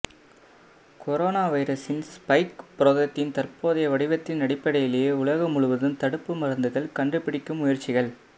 corona வைரசின் spike புரதத்தின் தற்போதைய வடிவத்தின் அடிப்படையிலேயே உலகம் முழுவதும் தடுப்பு மருந்துகள் கண்டுபிடிக்கும் முயற்சிகள்